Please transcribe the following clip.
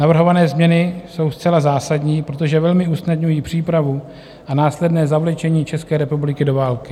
Navrhované změny jsou zcela zásadní, protože velmi usnadňují přípravu a následné zavlečení České republiky do války.